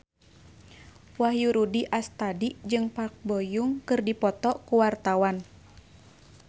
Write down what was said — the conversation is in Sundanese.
Wahyu Rudi Astadi jeung Park Bo Yung keur dipoto ku wartawan